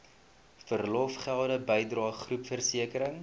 verlofgelde bydrae groepversekering